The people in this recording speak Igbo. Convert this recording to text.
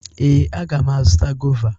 Ee, aga m azụta gọva.